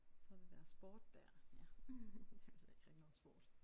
Så er der det der sport der ja. Det ved jeg ikke rigtig noget om sport